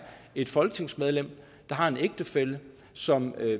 et folketingsmedlem der har en ægtefælle som er